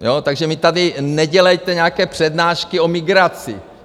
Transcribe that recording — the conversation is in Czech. Takže mi tady nedělejte nějaké přednášky o migraci.